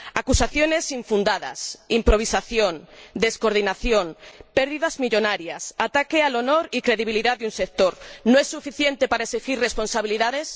Acusaciones infundadas, improvisación, descoordinación, pérdidas millonarias, ataque al honor y a la credibilidad de un sector ¿no es suficiente para exigir responsabilidades?